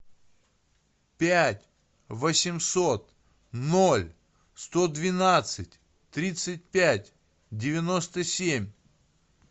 пять восемьсот ноль сто двенадцать тридцать пять девяносто семь